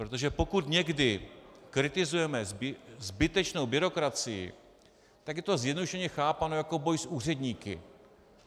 Protože pokud někdy kritizujeme zbytečnou byrokracii, tak je to zjednodušeně chápáno jako boj s úředníky.